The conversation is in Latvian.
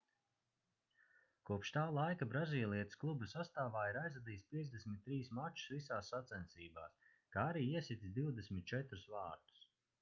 kopš tā laika brazīlietis kluba sastāvā ir aizvadījis 53 mačus visās sacensībās kā arī iesitis 24 vārtus